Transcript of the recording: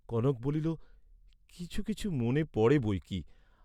কনক বলিল কিছু কিছু মনে পড়ে বই কি।